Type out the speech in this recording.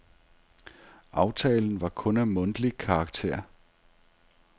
Aftalen var kun af mundtlig karakter.